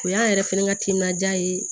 O y'an yɛrɛ fɛnɛ ka timinandiya ye